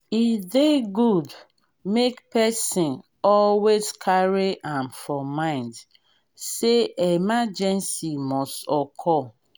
e dey good make person always carry am for mind say emergency must occur